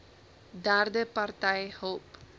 derde party hulp